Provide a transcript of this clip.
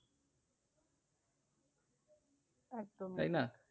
একদম তাই না?